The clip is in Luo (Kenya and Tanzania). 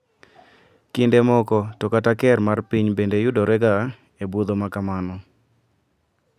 Kinde moko to kata ker mar piny bende yudore ga e budho makamano.